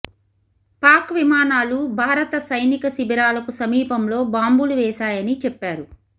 పాక్ విమానాలు భారత సైనిక శిబిరాలకు సమీపంలో బాంబులు వేశాయని చెప్పారు